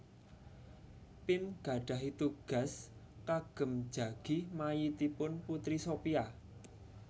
Pim gadhahi tugas kagem jagi mayitipun Putri Sophia